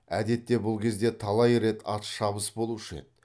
әдетте бұл кезде талай рет атшабыс болушы еді